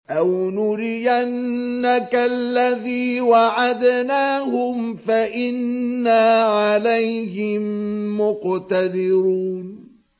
أَوْ نُرِيَنَّكَ الَّذِي وَعَدْنَاهُمْ فَإِنَّا عَلَيْهِم مُّقْتَدِرُونَ